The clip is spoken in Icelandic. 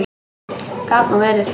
Gat nú verið!